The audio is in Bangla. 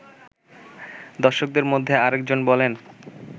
দর্শকদের মধ্যে আরেকজন বলেন